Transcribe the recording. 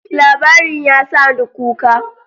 Labarin ya sa ni kuka.